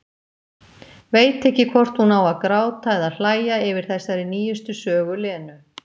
Veit ekki hvort hún á að gráta eða hlæja yfir þessari nýjustu sögu Lenu.